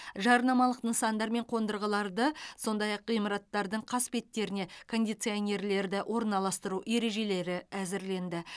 жарнамалық нысандар мен қондырғыларды сондай ақ ғимараттардың қасбеттеріне кондиционерлерді орналастыру ережелері әзірленді